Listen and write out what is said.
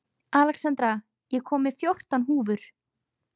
Alexandra, ég kom með fjórtán húfur!